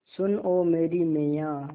सुन ओ मेरी मैय्या